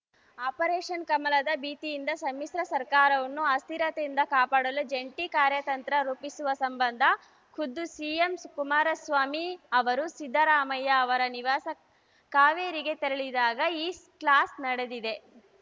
operation ಕಮಲದ ಭೀತಿಯಿಂದ ಸಮ್ಮಿಶ್ರ ಸರ್ಕಾರವನ್ನು ಅಸ್ಥಿರತೆಯಿಂದ ಕಾಪಾಡಲು ಜಂಟಿ ಕಾರ್ಯತಂತ್ರ ರೂಪಿಸುವ ಸಂಬಂಧ ಖುದ್ದು ಸಿಎಂ ಕುಮಾರಸ್ವಾಮಿ ಅವರು ಸಿದ್ದರಾಮಯ್ಯ ಅವರ ನಿವಾಸ ಕಾವೇರಿಗೆ ತೆರಳಿದಾಗ ಈ ಕ್ಲಾಸ್‌ ನಡೆದಿದೆ